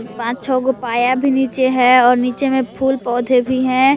पांच छह गो पाया भी नीचे है और नीचे में फूल पौधे भी हैं।